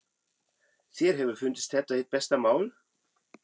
Þér hefur fundist þetta hið besta mál?